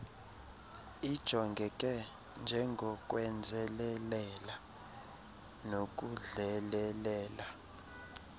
ijongeke njengokwenzelelela nokudlelelela